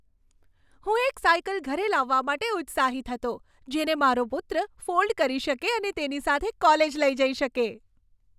હું એક સાઇકલ ઘરે લાવવા માટે ઉત્સાહિત હતો, જેને મારો પુત્ર ફોલ્ડ કરી શકે અને તેની સાથે કોલેજ લઈ જઈ શકે.